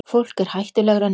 Fólk er hættulegra en álfar.